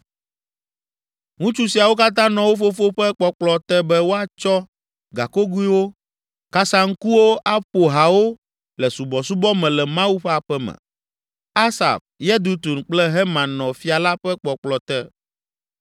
Ŋutsu siawo katã nɔ wo fofo ƒe kpɔkplɔ te be woatsɔ gakogoewo, saŋkuwo kple kasaŋkuwo aƒo hawo le subɔsubɔ me le Mawu ƒe aƒe me. Asaf, Yedutun kple Heman nɔ fia la ƒe kpɔkplɔ te.